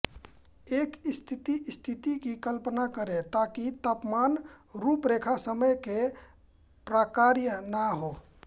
एक स्थिर स्थिति की कल्पना करें ताकि तापमान रूपरेखा समय के प्रकार्य ना हों